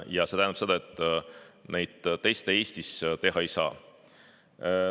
Ja see tähendab seda, et neid teste Eestis teha ei saa.